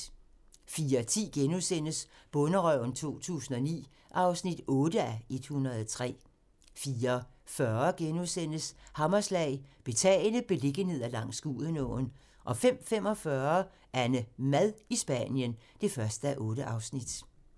04:10: Bonderøven 2009 (8:103)* 04:40: Hammerslag - Betagende beliggenheder langs Gudenåen * 05:45: AnneMad i Spanien (1:8)